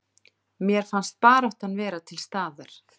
Mér fannst baráttan vera til staðar